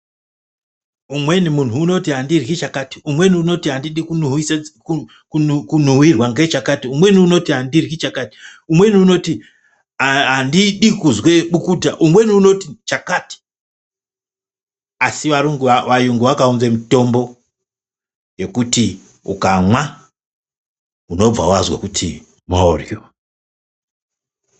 Umweni munhu unoti andiryi chakati umweni unoti andidi kunuhwise tsE ku kunuhwira ngechakati umweni unotiandiryi chakati umweni unoti aa aa andidi kuzwe bukuta umweni unoti chakati asi aru varungu vakaunze mutombo yekuti ukamwa unobva wazwe kuti moryo.